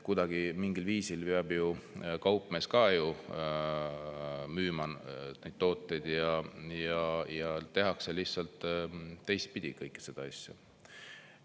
Kuidagi mingil viisil peab kaupmees ka ju müüma neid tooteid ja tehakse lihtsalt teistpidi kõike seda asja.